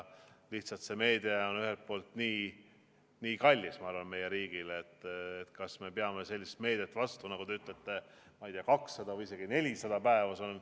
Lihtsalt see meede on ühelt poolt nii kallis meie riigile, et kas me peaksime sellisele meetmele vastu, nagu te ütlete, 200 või isegi 400 päeva.